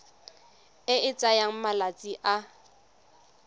e e tsayang malatsi a